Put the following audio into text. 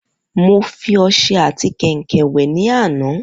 Mo fi ọsẹ ati kèǹkè wè ní àná